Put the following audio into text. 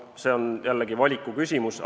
See on jällegi valiku küsimus.